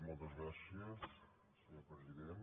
moltes gràcies senyor president